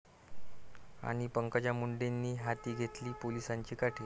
...आणि पंकजा मुंडेंनी हाती घेतली पोलिसांची काठी